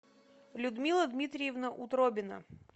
людмила дмитриевна утробина